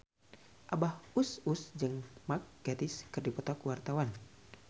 Abah Us Us jeung Mark Gatiss keur dipoto ku wartawan